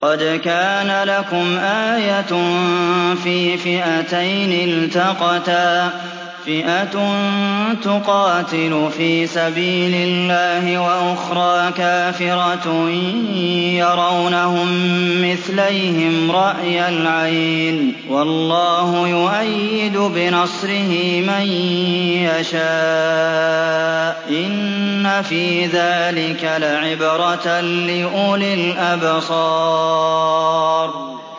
قَدْ كَانَ لَكُمْ آيَةٌ فِي فِئَتَيْنِ الْتَقَتَا ۖ فِئَةٌ تُقَاتِلُ فِي سَبِيلِ اللَّهِ وَأُخْرَىٰ كَافِرَةٌ يَرَوْنَهُم مِّثْلَيْهِمْ رَأْيَ الْعَيْنِ ۚ وَاللَّهُ يُؤَيِّدُ بِنَصْرِهِ مَن يَشَاءُ ۗ إِنَّ فِي ذَٰلِكَ لَعِبْرَةً لِّأُولِي الْأَبْصَارِ